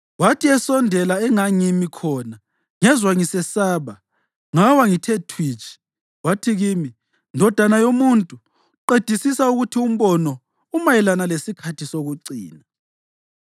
Wathi esondela engangimi khona, ngezwa ngisesaba, ngawa ngithe thwitshi. Wathi kimi, “Ndodana yomuntu, qedisisa ukuthi umbono umayelana lesikhathi sokucina.”